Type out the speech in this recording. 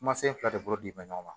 Kumasen fila de bolo bi bɛn ɲɔgɔn ma